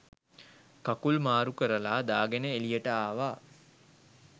කකුල් මාරුකරලා දාගෙන එළියට ආවා